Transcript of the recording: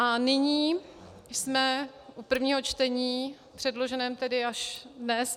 A nyní jsme u prvního čtení předloženého tedy až dnes.